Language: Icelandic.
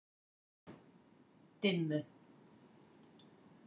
Dimmu